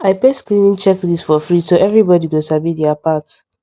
i paste cleaning checklist for fridge so everybody go sabi dia part